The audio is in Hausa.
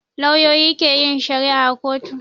Lauyoyi ke yin shari'a a kotu